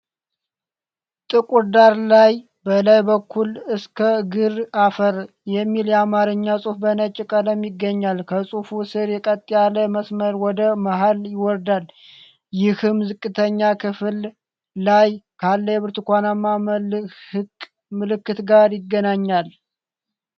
ጥቁር ዳራ ላይ፣ በላይ በኩል “እስከ እግር አፍር” የሚል የአማርኛ ጽሑፍ በነጭ ቀለም ይገኛል። ከጽሁፉ ስር፣ ቀጥ ያለ መስመር ወደ መሃል ይወርዳል፣ ይህም ዝቅተኛ ክፍል ላይ ካለ የብርቱካናማ መልህቅ ምልክት ጋር ይገናኛል።